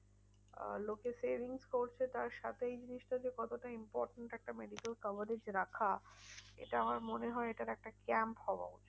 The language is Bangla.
আহ লোকে savings করছে তার সাথে এই জিনিসটা যে কতটা important. একটা medical coverage রাখা, এটা আমার মনে হয় এটার একটা camp হওয়া উচিত।